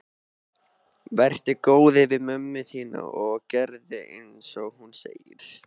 Vertu góður við mömmu þína og gerðu einsog hún segir.